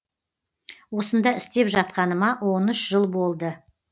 осында істеп жатқаныма он үш жыл болды